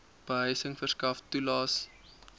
behuising verskaf toelaes